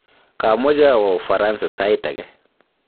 kamoche awo Ufaransa sait ake.